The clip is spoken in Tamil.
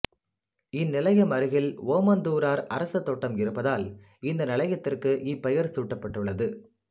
இந்நிலையம் அருகில் ஓமந்தூரார்அரசு தோட்டம் இருப்பதால் இந்த நிலையத்திற்கு இப்பெயர் சூட்டப்பட்டுள்ளது